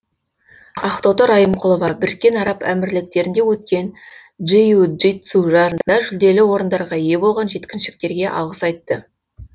ақтоты райымқұлова біріккен араб әмірлектерінде өткен джиу джитсу жарысында жүлделі орындарға ие болған жеткіншектерге алғыс айтты